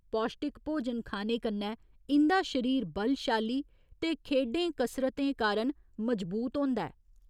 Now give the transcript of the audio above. पौश्टिक भोजन खाने कन्नै इं'दा शरीर बलशाली ते खेढें कसरतें कारण मजबूत होंदा ऐ।